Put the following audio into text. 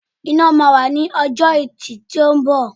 Ìnáwó má wà ní ọjọ́ ẹtì tí ó ńbọ̀.